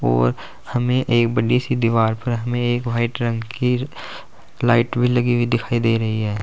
और हमें एक बड़ी सी दीवार पर हमें एक व्हाइट रंग की लाइट भी लगी हुई दिखाई दे रही है।